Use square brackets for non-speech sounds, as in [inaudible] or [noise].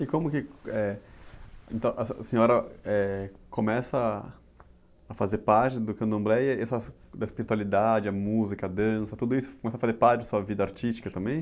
E como que, eh, então, a, [unintelligible] a senhora, eh, começa a fazer parte do candomblé e esse assunto da espiritualidade, a música, a dança, tudo isso começa a fazer parte da sua vida artística também?